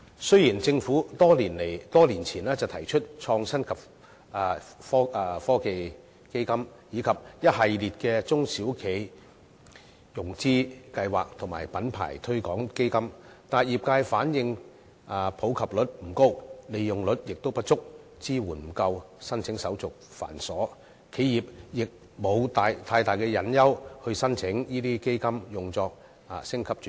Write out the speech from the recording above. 雖然政府多年前設立創新及科技基金，以及一系列的中小企融資計劃及品牌推廣基金，但業界反映普及率不高，使用率不足，支援亦不夠，申請手續又繁瑣，企業並無太大誘因申請這些基金用作升級轉型。